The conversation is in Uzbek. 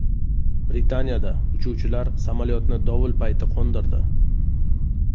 Britaniyada uchuvchilar samolyotni dovul payti qo‘ndirdi .